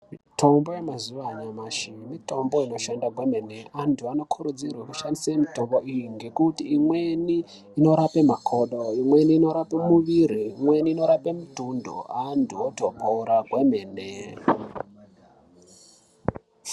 Mitombo yemazuwa anyamashi mitombo inoshande kwemene antu anokurudzirwe kushandisa mitombo iyi ngekuti imweni inorapa makodo ,imweni inorapa muviri ,imweni inorapa mutundu antu otopora kwemene.